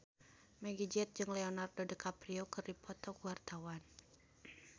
Meggie Z jeung Leonardo DiCaprio keur dipoto ku wartawan